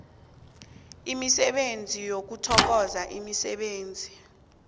imisebenzi yokuthokozwa emsebenzini